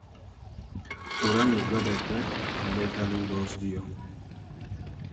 hura nigwendete mraika thutha ũcio